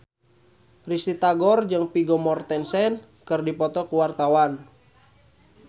Risty Tagor jeung Vigo Mortensen keur dipoto ku wartawan